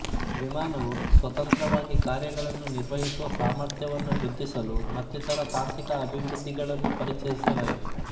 ವಿಮಾನವು ಸ್ವತಂತ್ರವಾಗಿ ಕಾರ್ಯಗಳನ್ನು ನಿರ್ವಹಿಸುವ ಸಾಮರ್ಥ್ಯವನ್ನು ವೃದ್ಧಿಸಲು ಮತ್ತಿತರ ತಾಂತ್ರಿಕ ಅಭಿವೃದ್ಧಿಗಳನ್ನು ಪರಿಚಯಿಸಲಾಯಿತು